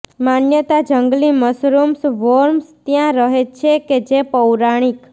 માન્યતા જંગલી mushrooms worms ત્યાં રહે છે કે જે પૌરાણિક